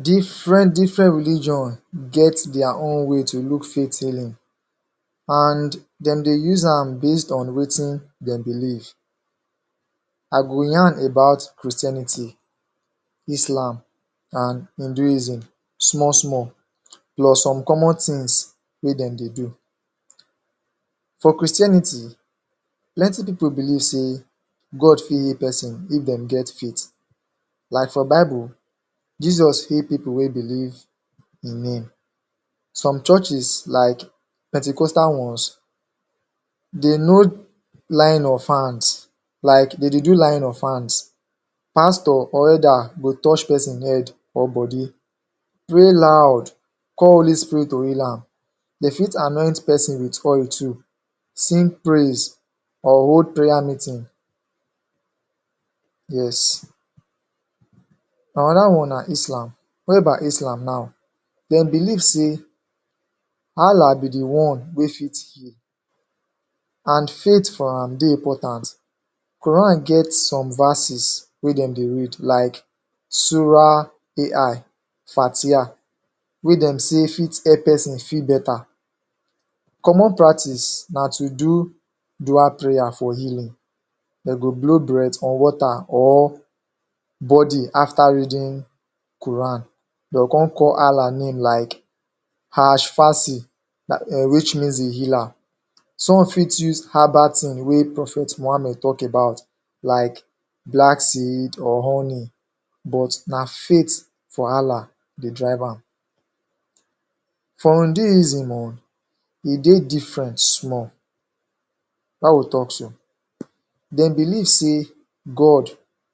Different-different religion get dia own way to look faith healing, an dem dey use am based on wetin dem believe. I go yarn about Christianity, Islam, an Hinduism small-small, plus some common tins wey dem dey do. For Christianity, plenty pipu believe sey God fit heal peson if dem get faith. Like for Bible, Jesus heal pipu wey believe in Him. Some churches, like pentecostal ones, de know laying of hands. Like de dey do laying of hands. Pastor or Elder go touch peson head or body, pray loud, call Holy Spirit to heal am. De fit anoint peson with oil too, sing praise, or hold prayer meeting. Yes. Another one na Islam. Whereby Islam nau, dem believe sey Allah be the one wey fit heal An faith for am dey important. Quran get some verses wey dem dey read like Surah' ai fatiah. wey dem say fit help peson feel beta. Common practice na to do dua prayer for healing, de go blow breath on water or body after reading Quran. De go con call Allah name like which means The Healer. Some fit use herbal tin wey Prophet Muhammed talk about like black seed or honey but na faith for Allah dey drive am. For Hinduism own, e dey different small. Why we talk so? Dem believe sey god